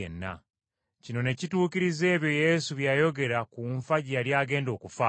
Kino ne kituukiriza ebyo Yesu bye yayogera ku nfa gye yali agenda okufaamu.